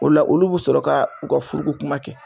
O la olu bi sɔrɔ k'u ka furuko kuma kɛ.